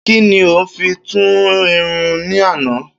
Kín ni o fi tú irun ní ànàá?